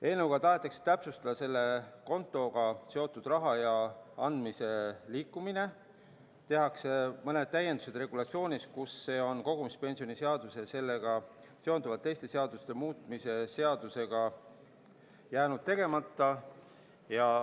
Eelnõuga tahetakse täpsustada selle kontoga seotud raha ja andmete liikumist, tehakse mõned täiendused regulatsioonis, kus see on kogumispensionide seaduse ja sellega seonduvalt teiste seaduste muutmise seadusega jäänud tegemata.